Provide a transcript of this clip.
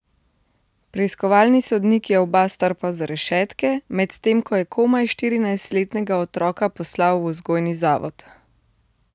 Preiskovalni sodnik je oba strpal za rešetke, medtem ko je komaj štirinajstletnega otroka poslal v vzgojni zavod.